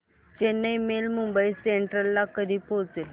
Chennai mail Mumbai central ला कधी पोहचेल